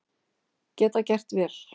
Geta gert vel